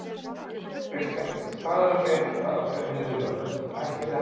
Kristján: Hvað er að frétta af þeim viðræðum, ætlið þið að halda þeim áfram?